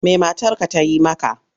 Me matarka ta yi maka?